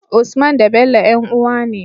Usman da Bello yan uwa ne